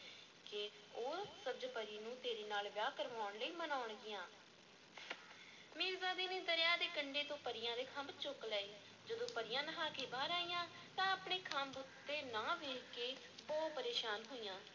ਕਿ ਉਹ ਸਬਜ਼-ਪਰੀ ਨੂੰ ਤੇਰੇ ਨਾਲ ਵਿਆਹ ਕਰਵਾਉਣ ਲਈ ਮਨਾਉਣਗੀਆਂ ਮੀਰਜ਼ਾਦੇ ਨੇ ਦਰਿਆ ਦੇ ਕੰਢੇ ਤੋਂ ਪਰੀਆਂ ਦੇ ਖੰਭ ਚੁੱਕ ਲਏ, ਜਦੋਂ ਪਰੀਆਂ ਨਹਾ ਕੇ ਬਾਹਰ ਆਈਆਂ ਤਾਂ ਆਪਣੇ ਖੰਭ ਉੱਥੇ ਨਾ ਵੇਖ ਕੇ ਬਹੁਤ ਪਰੇਸ਼ਾਨ ਹੋਈਆਂ।